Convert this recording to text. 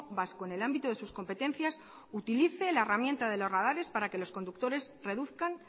vasco en el ámbito de sus competencias utilice la herramienta de los radares para que los conductores reduzcan